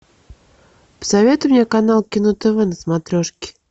посоветуй мне канал кино тв на смотрешке